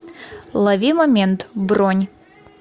лови момент бронь